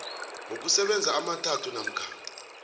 wokusebenza amathathu namkha